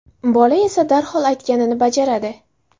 Bola esa darhol aytganni bajaradi.